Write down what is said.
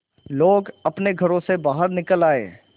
लोग अपने घरों से बाहर निकल आए